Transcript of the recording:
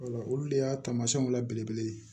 olu de y'a taamasiyɛnw la belebele ye